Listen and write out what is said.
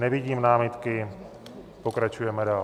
Nevidím námitky, pokračujeme dál.